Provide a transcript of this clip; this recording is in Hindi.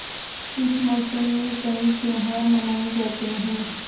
इस मौसम में कई त्यौहार मनाये जाते हैं